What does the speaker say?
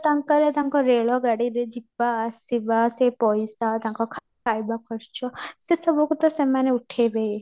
ତାଙ୍କର ତାଙ୍କର ରେଳ ଗାଡ଼ିରେ ଯିବା ଆସିବା ସେ ପଇସା ତାଙ୍କ ଖାଇବା ଖର୍ଚ୍ଚ ସେ ସବୁକୁ ତା ସେମାନେ ଉଠେଇବେ ହିଁ